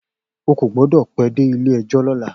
O kò gbọ́dọ̀ pẹ́ dé Ilé-ẹjọ́ lọ́la.